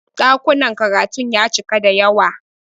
Ɗakunan karatun ya cika da yawa.